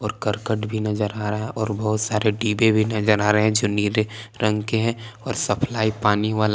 कर्कट भी नज़र आ रहा है और बहुत सारे डिब्बे भी नज़र आ रहे हैं जो नीले रंग के है और सप्लाई पानी वाला--